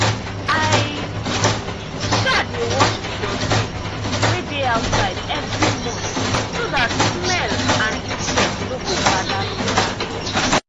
i um dey wash the dustbin wey dey outside every month so that smell and insect no go gather near am.